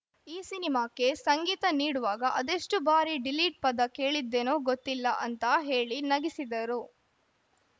ಈ ಸಿನಿಮಾಕ್ಕೆ ಸಂಗೀತ ನೀಡುವಾಗ ಅದೆಷ್ಟುಬಾರಿ ಡಿಲೀಟ್‌ ಪದ ಕೇಳಿದ್ದೆನೋ ಗೊತ್ತಿಲ್ಲ ಅಂತ ಹೇಳಿ ನಗಿಸಿದರು